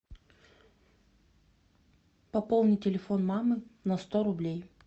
пополни телефон мамы на сто рублей